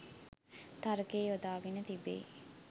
තර්කය යොදාගෙන තිබේ.